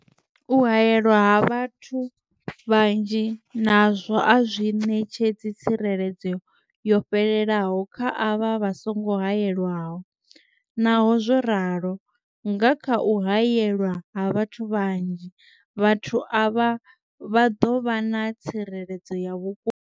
U haelwa ha vhathu vhanzhi nazwo a zwi ṋetshedzi tsireledzo yo fhelelaho kha avho vha songo haelwaho, Naho zwo ralo, nga kha u haelwa ha vhathu vhanzhi, vhathu avha vha ḓo vha na tsireledzo ya vhukuma.